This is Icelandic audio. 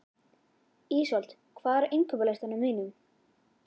Ísold, hvað er á innkaupalistanum mínum?